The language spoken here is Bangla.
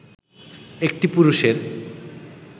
একটি পুরুষের